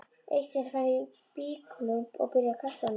Eitt sinn fann ég blýklump og byrjaði að kasta honum.